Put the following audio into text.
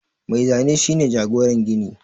Mai Zane shi ne jagoran gini